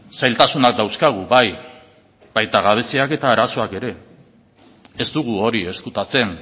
zailtasunak dauzkagu bai baita gabeziak eta arazoak ere ez dugu hori ezkutatzen